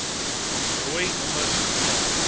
rooi nommers via